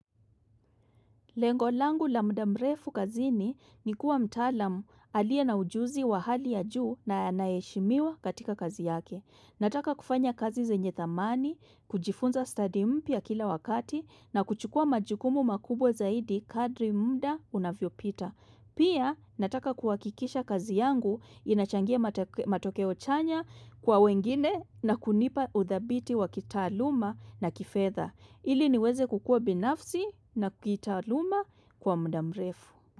Lengo langu la mudamrefu kazini ni kuwa mtalamu aliye na ujuzi wa hali ya juu na anayeheshimiwa katika kazi yake. Nataka kufanya kazi zenye thamani, kujifunza studi mpya kila wakati na kuchukua majukumu makubwa zaidi kadiri muda unavyo pita. Pia nataka kuhakikisha kazi yangu inachangia matokeo chanya kwa wengine na kunipa uthabiti wa kitaaluma na kifetha. Ili niweze kukua binafsi na kitaaluma kwa mudamrefu.